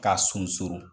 K'a sunsurun